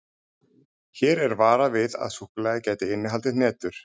Hér er varað við að súkkulaðið gæti innihaldið hnetur.